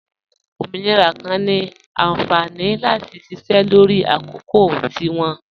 Ọmọnirà kan ni ànfání láti ṣíṣẹ́ lọrì àkọ̀kò tí wọn.